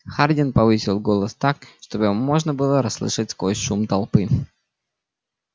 хардин повысил голос так чтобы его можно было расслышать сквозь шум толпы